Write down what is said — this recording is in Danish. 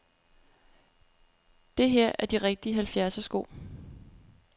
Det her er de rigtige halvfjerdsersko.